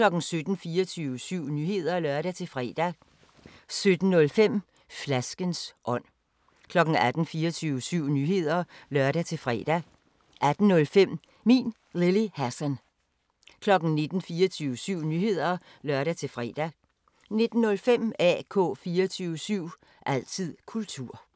24syv Nyheder (lør-fre) 17:05: Flaskens ånd 18:00: 24syv Nyheder (lør-fre) 18:05: Min Lille Hassan 19:00: 24syv Nyheder (lør-fre) 19:05: AK 24syv – altid kultur